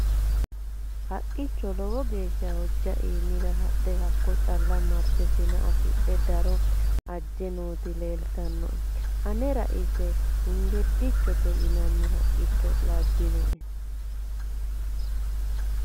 haqqicho lowo geeshsha hojja iimira hadhe hakko calla marte sina afidhe daro ajje nooti leeltannoe anera ise hengedichote yinanni haqqicho labbannowe